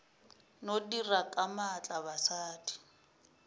no dira ka maatla basadi